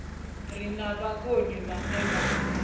re na vhukoni vhane vha